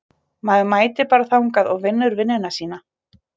Maður mætir bara þangað og vinnur vinnuna sína.